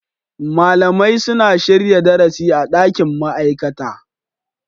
Malamai suna shirya darasi a dakin ma'aikata.